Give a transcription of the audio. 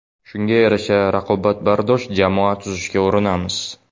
Shunga yarasha raqobatbardosh jamoa tuzishga urinamiz.